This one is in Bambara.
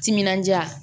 Timinandiya